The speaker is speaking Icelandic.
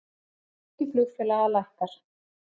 Gengi flugfélaga lækkar